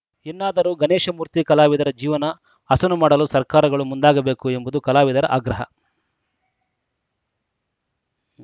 ಇನ್ನಾದರೂ ಗಣೇಶ ಮೂರ್ತಿ ಕಲಾವಿದರ ಜೀವನ ಹಸನು ಮಾಡಲು ಸರ್ಕಾರಗಳು ಮುಂದಾಗಬೇಕು ಎಂಬುದು ಕಲಾವಿದರ ಆಗ್ರಹ